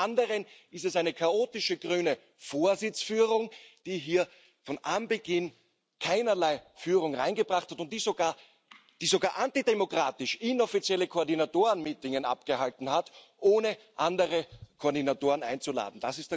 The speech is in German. Und zum anderen ist es eine chaotische grüne Vorsitzführung, die hier von Anbeginn keinerlei Führung hereingebracht hat und die sogar antidemokratisch inoffizielle Koordinatorenmeetings abgehalten hat, ohne andere Koordinatoren einzuladen.